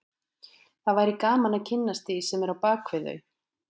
Það væri gaman að kynnast því sem er á bak við þau